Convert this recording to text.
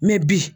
bi